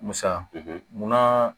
Musa mun na